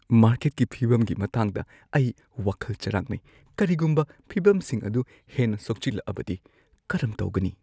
ꯃꯥꯔꯀꯦꯠꯀꯤ ꯐꯤꯕꯝꯒꯤ ꯃꯇꯥꯡꯗ ꯑꯩ ꯋꯥꯈꯜ ꯆꯥꯔꯥꯡꯅꯩ꯫ ꯀꯔꯤꯒꯨꯝꯕ ꯐꯤꯚꯝꯁꯤꯡ ꯑꯗꯨ ꯍꯦꯟꯅ ꯁꯣꯛꯆꯤꯜꯂꯛꯂꯕꯗꯤ ꯀꯔꯝ ꯇꯧꯒꯅꯤ?